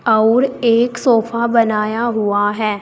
और एक सोफा बनाया हुआ है।